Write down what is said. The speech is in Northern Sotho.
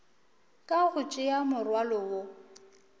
ka go tšea morwalo wo